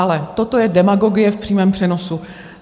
Ale toto je demagogie v přímém přenosu.